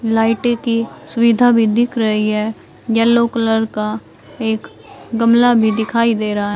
लाइटे की सुविधा भी दिख रही है येलो कलर का एक गमला भी दिखाई दे रहा है।